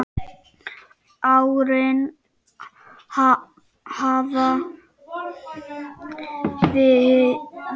Árin hafa liðið fljótt.